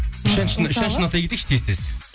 үш әншіні атай кетейікші тез тез